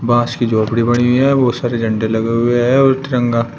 बांस की झोपड़ी बनी हुई है बहुत सारे झंडे लगे हुए हैं वो तिरंगा--